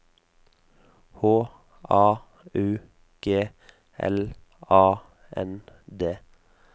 H A U G L A N D